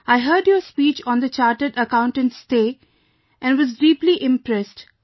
I heard your speech on the Chartered Accountants Day and was deeply impressed